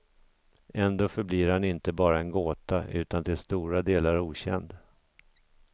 Ändå förblir han inte bara en gåta, utan till stora delar okänd.